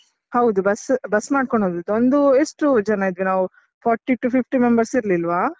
ಹೌದು bus bus ಮಾಡ್ಕೊಂಡ್ ಹೋದದ್ದು, ಒಂದು ಎಷ್ಟು ಜನ ಇದ್ವಿ ನಾವು forty to fifty members ಇರ್ಲಿಲ್ವಾ?